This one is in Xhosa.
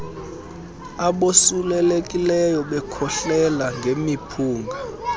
abosulelekileyo bekhohlela ngemiphunga